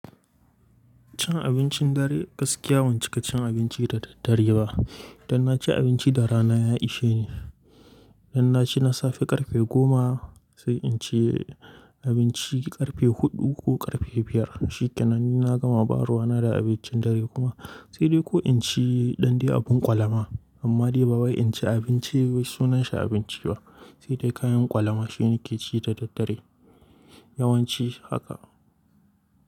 Cin abincin dare gaskiya bancika cin abinci da daddare ba. Dan na ci abinci da rana ya ishe ni. Dan na ci na safe ƙarfe goma sai in ci abinci ƙarfe huɗu ko ƙarfe biyar. Shikenan ni na gama baruwa na da abincin dare kuma sai dai ko in ci ɗan dai abin ƙwalama. Amma dai ba wai in ci abinci wai sunanshi abinci ba sai dai kayan ƙwalama shi nake ci da daddare. Yawanci haka.